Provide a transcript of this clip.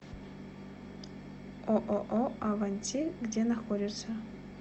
ооо аванти где находится